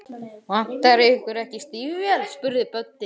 Vantar ykkur ekki stígvél? spurði Böddi.